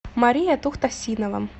мария тухтасинова